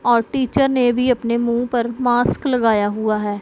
और टीचर ने भी अपने मुंह पर मास्क लगाया हुआ है।